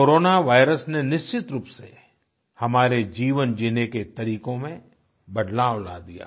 corona virus ने निश्चित रूप से हमारे जीवन जीने के तरीकों में बदलाव ला दिया है